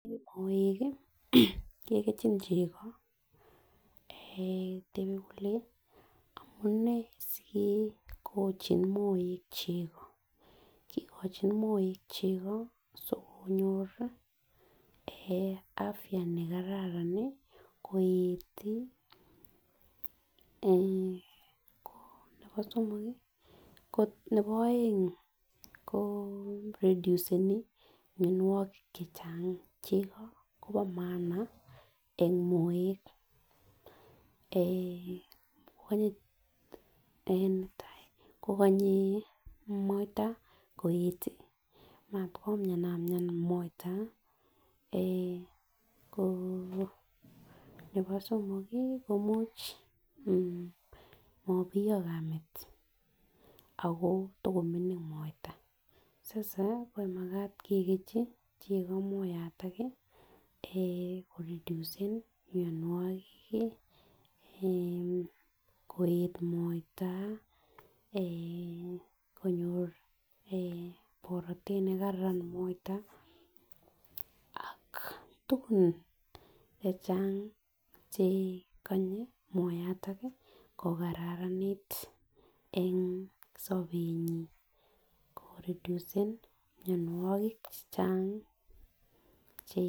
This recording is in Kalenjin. Moek kii kekerchin cheko eeh tebe kole amunee sikikochin moek cheko kikochin moek cheko sikonyori eeh afya nekararan nii koet tii eeh ko nebo somok kii ko nebo oeng ko reduceni mionwokik chechang, cheko Kobo maana en moek. Eeh netai kokonye moita koet tii anan komianamian moita, nebo somok kii ko much mobiyo kamet ako takomingin moita sasa ko makat kekerchin cheko moyato nii eeh koreducen mionwek kii eeh koet moita eeh konyor eeh borotet nekaran moita ak tukun chechang chekonye moyaton ko kararanit en sobenyin, koreducen mionwek chechang che.